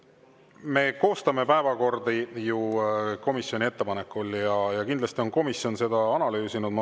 Me koostame päevakordi ju komisjonide ettepanekute alusel ja kindlasti on komisjon seda analüüsinud.